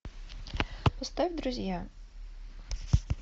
поставь друзья